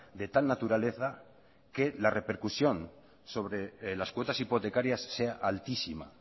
de tal naturaleza que la repercusión sobre las cuotas hipotecarias sea altísima